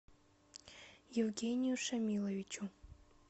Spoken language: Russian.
евгению шамиловичу